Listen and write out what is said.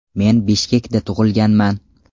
Men Bishkekda tug‘ilganman.